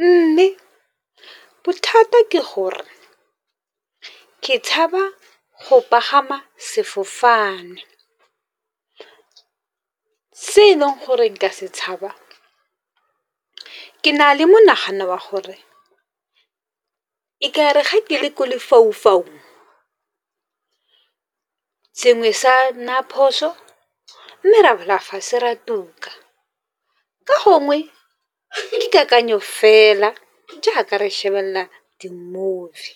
Mme bothata ke gore ke tshaba go pagama sefofane, se e leng gore ka se tshaba. Ke na le monagano wa gore e ga ke le ko lefaufaung sengwe sa naya phoso, mme ra wela fatshe ra tuka, ka gongwe ke kakanyo fela jaaka re shebelela di-movie.